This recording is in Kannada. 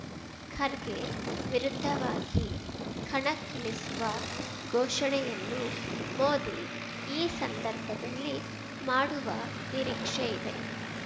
ಖರ್ಗೆ ವಿರುದ್ಧವಾಗಿ ಕಣಕ್ಕಿಳಿಸುವ ಘೋಷಣೆಯನ್ನೂ ಮೋದಿ ಈ ಸಂದರ್ಭದಲ್ಲಿ ಮಾಡುವ ನಿರೀಕ್ಷೆ ಇದೆ